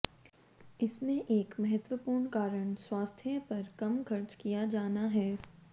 इसमें एक महत्त्वपूर्ण कारण स्वास्थ्य पर कम खर्च किया जाना है